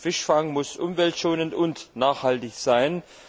Fischfang muss umweltschonend und nachhaltig sein!